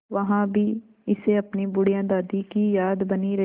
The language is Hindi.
वहाँ भी इसे अपनी बुढ़िया दादी की याद बनी रही